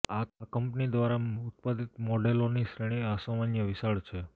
આ કંપની દ્વારા ઉત્પાદિત મોડેલોની શ્રેણી અસામાન્ય વિશાળ છે